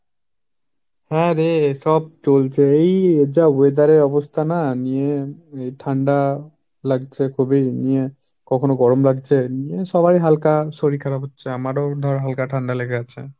হাঁ রে সব চলছে। এই যা weather এর অবস্থা না, নিয়ে ঠান্ডা লাগছে খুবই নিয়ে কখনো গরম লাগছে নিয়ে সবার হালকা শরীর খারাপ হচ্ছে, আমারও ধর হালকা ঠান্ডা লেগে আছে।